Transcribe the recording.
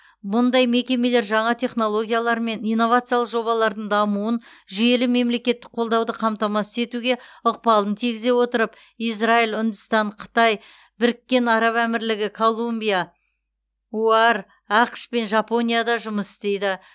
мұндай мекемелер жаңа технологиялар мен инновациялық жобалардың дамуын жүйелі мемлекеттік қолдауды қамтамасыз етуге ықпалын тигізе отырып израиль үндістан қытай біріккен араб әмірлігі колумбия оар ақш пен жапонияда жұмыс істейді